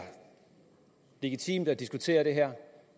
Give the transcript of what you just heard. legitimt at diskutere det her